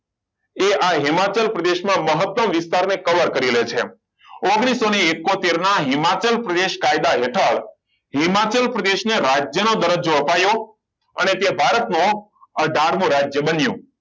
એ આ હિમાચલ પ્રદેશમાં મહત્તમ વિસ્તારને cover કરી લે છે ઓગ્નિસો ઇકોતેર ના હિમાચલ પ્રદેશના કાયદા હેઠળ હિમાચલ પ્રદેશને રાજ્યમાં દરજ્જો અપાયો અને તે ભારતનો અથાર મો રાજ્ય બન્યું